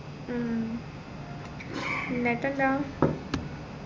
ഉം എന്നിട്ടെന്താ